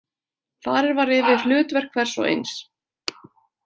Farið var yfir hlutverk hvers og eins.